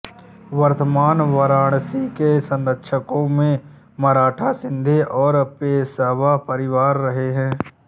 वर्तमान वाराणसी के संरक्षकों में मराठा शिंदे और पेशवा परिवार रहे हैं